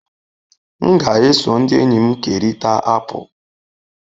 M ga-eso ndị enyi m kerịta apụl.